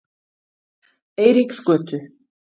Eiríksgötu